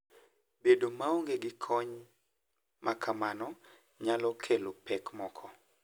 Bedo maonge gi kony ma kamano nyalo kelo pek moko.